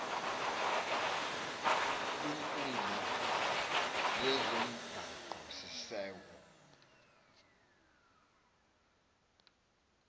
kwinkundla yezomgaqo siseko